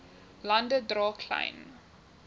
lande dra klein